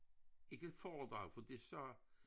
Ikke foredrag for de sagde